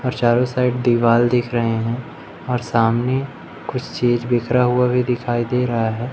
और चारों साइड दीवाल दिख रहे हैं और सामने कुछ चीज बिखरा हुआ भी दिखाई दे रहा है।